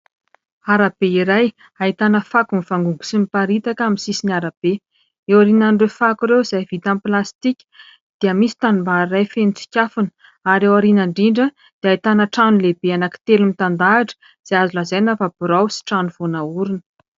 Arabe iray ahitana fako mivangongo sy miparitaka amin'ny sisin'ny arabe. Eo aorinan'ireo fako ireo izay vita amin'ny plastika dia misy tanimbary iray feno tsikafona ary ao aoriana indrindra dia ahitana trano telo lehibe telo mitandrahatra izay azo lazaina fa birao sy trano vao naorina.